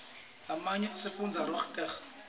lamanyo asifundzisa rdatsitg